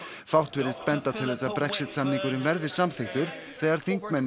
fátt virðist benda til þess að Brexit samningurinn verði samþykktur þegar þingmenn